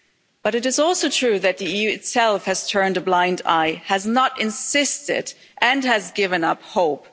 But it is also true that the EU itself has turned a blind eye, has not insisted and has given up hope.